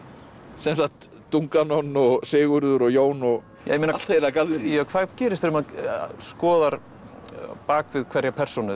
sem sagt Dunganon og Sigurður og Jón og allt heila galleríið ja hvað gerist þegar maður skoðar bak við hverja persónu